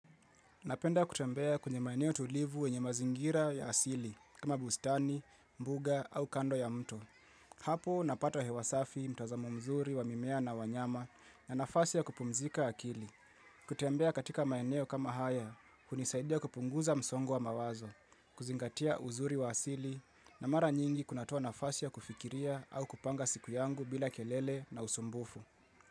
Napenda kutembea kwenye maeneo tulivu yenye mazingira ya asili kama bustani, mbuga au kando ya mto. Hapo napata hewa safi mtazamo mzuri wa mimea na wanyama na nafasi ya kupumzika akili. Kutembea katika maeneo kama haya, hunisaidia kupunguza msongo wa mawazo, kuzingatia uzuri wa asili na mara nyingi kunatoa nafasi ya kufikiria au kupanga siku yangu bila kelele na usumbufu.